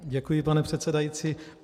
Děkuji, pane předsedající.